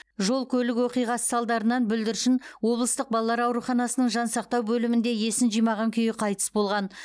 жол көлік оқиғасы салдарынан бүлдіршін облыстық балалар ауруханасының жансақтау бөлімінде есін жимаған күйі қайтыс болған